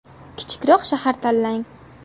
Kichikroq shahar tanlang.